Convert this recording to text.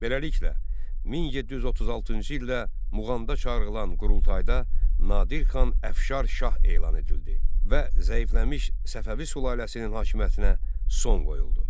Beləliklə, 1736-cı ildə Muğanda çağırılan qurultayda Nadir xan Əfşar şah elan edildi və zəifləmiş Səfəvi sülaləsinin hakimiyyətinə son qoyuldu.